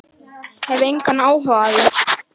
Hef engan áhuga á því.